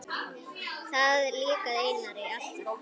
Það líkaði Einari alltaf.